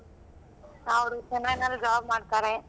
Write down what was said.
ಅವ್ರು Chennai ನಲ್ಲ್ job ಮಾಡ್ತಾರೆ.